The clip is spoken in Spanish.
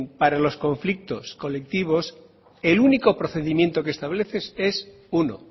para los conflictos colectivos el único procedimiento que establece es uno